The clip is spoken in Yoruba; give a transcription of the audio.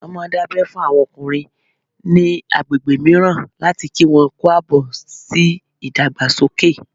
Wọ́n máà ń dábẹ́ fún àwọn ọkùnrin ní agbègbè mìíràn láti kí wọn kú àbọ̀ sí ìdàgbàsókè